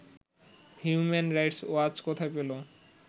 human Rights Watch কোথায় পেল